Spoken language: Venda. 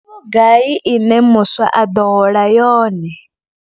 Ndi vhugai ine muswa a ḓo hola yone.